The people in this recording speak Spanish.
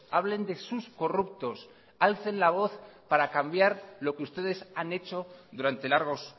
hablen de sus corruptos alcen la voz para cambiar lo que ustedes han hecho durante largos